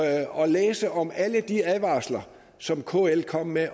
at læse om alle de advarsler som kl kom med i